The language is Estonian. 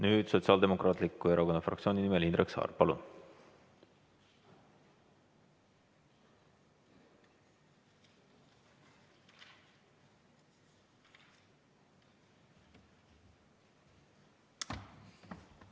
Nüüd Sotsiaaldemokraatliku Erakonna fraktsiooni nimel Indrek Saar, palun!